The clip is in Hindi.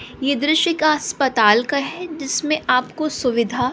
ये दृश्य का अस्पताल का है जिसमें आपको सुविधा--